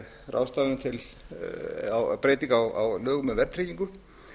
ráðstafanir til breytingu á lögum um verðtryggingu